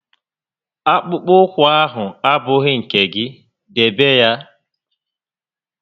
Akpụkpọ ụkwụ ahụ abụghị nke gị, debe ya!